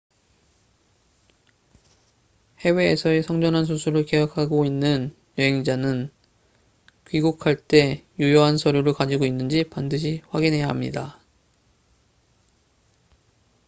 해외에서의 성전환 수술을 계획하고 있는 여행자는 귀국할 때 유효한 서류를 가지고 있는지 반드시 확인해야 합니다